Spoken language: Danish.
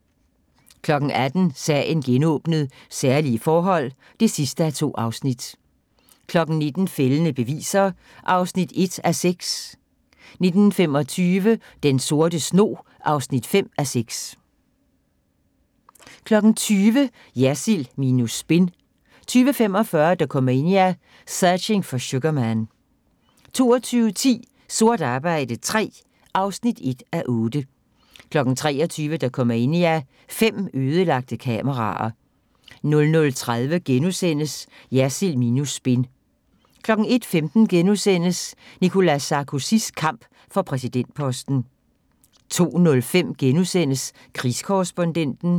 18:00: Sagen genåbnet: Særlige forhold (2:2) 19:00: Fældende beviser (1:6) 19:25: Den Sorte Snog (5:6) 20:00: Jersild minus spin 20:45: Dokumania: Searching for Sugarman 22:10: Sort arbejde III (1:8) 23:00: Dokumania: Fem ødelagte kameraer 00:30: Jersild minus spin * 01:15: Nicolas Sarkozys kamp for præsidentposten * 02:05: Krigskorrespondenten *